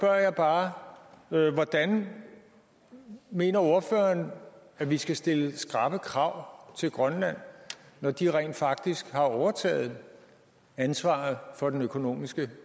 jeg bare hvordan mener ordføreren vi skal stille skrappe krav til grønland når de rent faktisk har overtaget ansvaret for den økonomiske